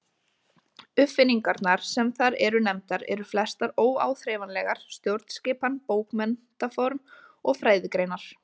Uppfinningarnar sem þar eru nefndar eru flestar óáþreifanlegar: stjórnskipan, bókmenntaform og fræðigreinar.